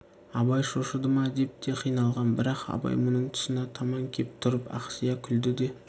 абай шошыды ма деп те қиналған бірақ абай мұның тұсына таман кеп тұрып ақсия күлді де